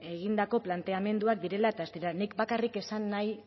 egindako planteamenduak direla eta ez direla nik bakarrik esan nahi